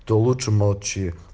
то лучше молчи